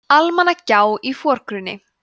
almannagjá í forgrunni